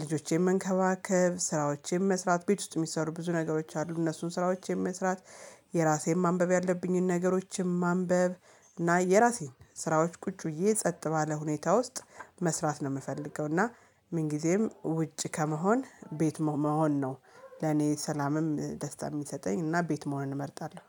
ልጆቼን መንከባከብ ስራዎቼን መስራት ቤት ውስጥ የሚሰሩ ብዙ ነገሮች አሉ እነሱን ስራዎቼን መስራት። የራሴን ማንበብ ያለብኝን ነገሮችን ማንበብ እና የራሴን ስራዎች ቁጭ ብዬ ጸጥ ባለ ሁኔታ ውስጥ መስራት ነው የምፈልገው። እና ምን ጊዜም ውጪ ከመሆን ቤት መሆን ነው። ለኔ ሰላምም ደስታ የሚሰጠኝ እና ቤት መሆን እመርጣለሁ